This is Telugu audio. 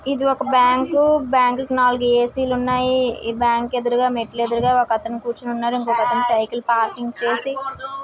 ఇది ఒక బ్యాంక్ బ్యాంకు కు నాలుగు ఏ_సి లు ఉన్నాయి. ఈ బ్యాంక్ ఎదురుగా మెట్లేదురుగా ఒకతను కూర్చుని ఉన్నారు. ఇంకో అతను సైకిల్ పార్కింగ్ చేసి--